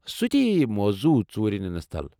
سُہ تہِ یی موضوع ژوٗرِ نِنس تل ۔